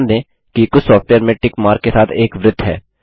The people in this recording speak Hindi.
ध्यान देंकि कुछ सॉफ्टवेयर में टिक मार्क के साथ एक वृत्त है